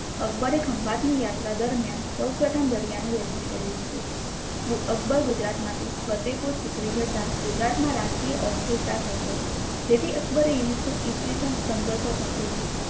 અકબર એ ખંભાત ની યાત્રા દરમ્યાન સૌપ્રથમ દરિયા નુ દર્શન કર્યુ હતુ અકબર ગુજરાત માંથી ફતેહપુર સિક્રી જતા ગુજરાત મા રાજકીય અસ્થિરતા સમજાય જેથી અકબર એ ઈસ્વીસન પંદરસો તોત્તેર માં